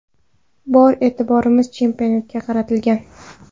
Bor e’tiborimiz chempionatga qaratilgan.